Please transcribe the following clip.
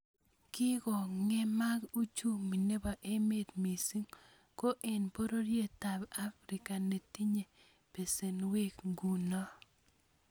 Kikongemak uchumi nebo emet missing ko eng pororietab afrika netinyei besenwek nguno